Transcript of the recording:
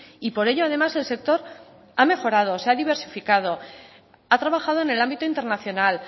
y por ello además el sector ha mejorado se ha diversificado ha trabajado en el ámbito internacional